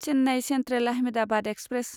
Chennai central Ahmedabad express